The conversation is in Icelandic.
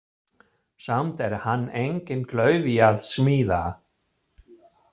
Samt er hann enginn klaufi að smíða.